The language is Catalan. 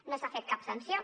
no s’ha fet cap sanció